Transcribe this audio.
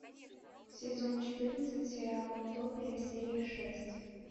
сезон четырнадцать сериал утопия серия шесть